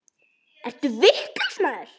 Ertu vitlaus maður?